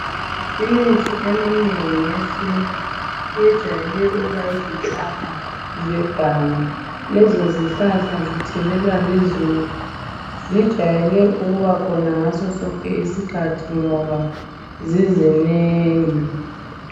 Imithi eminengi yesintu ijwayele ukuba yizihlahla zeganga. Lezo zihlahla zithelelwa lizulu , zijwayele ukuba khona ngaso sonke isikhathi ngoba zizinengi.